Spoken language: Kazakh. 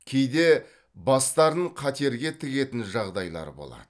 кейде бастарын қатерге тігетін жағдайлар болады